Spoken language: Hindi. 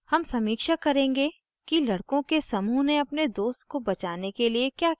हम समीक्षा करेंगे कि लड़को के समूह ने अपने दोस्त को बचाने के लिए क्या किया